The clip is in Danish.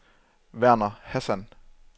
Verner Hassan